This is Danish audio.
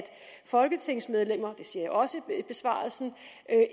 folketingsmedlemmer det siger jeg også i besvarelsen